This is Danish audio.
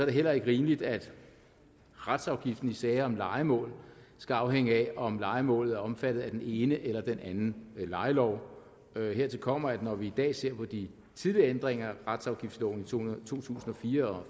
det heller ikke rimeligt at retsafgiften i sager om lejemål skal afhænge af om lejemålet er omfattet af den ene eller den anden lejelov hertil kommer at når vi i dag ser på de tidligere ændringer af retsafgiftsloven i to tusind og fire og